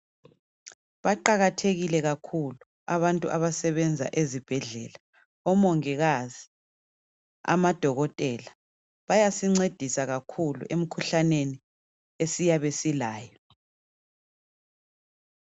Baqakathekile kakhulu abantu abasebenza ezibhedlela. Omongikazi, amaDokotela. Bayasincedisa kakhulu emkhuhlaneni esiyabe silayo.